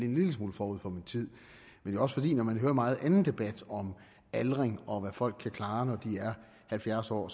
en lille smule forud for min tid men også fordi man når man hører meget anden debat om aldring og om hvad folk kan klare når de er halvfjerds år